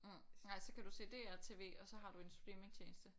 Mh nej så kan du se DRTV og så har du en streamingtjeneste